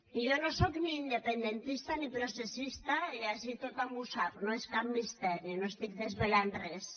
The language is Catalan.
i jo no soc ni independentista ni processista i ací tothom ho sap no és cap misteri no estic desvelant res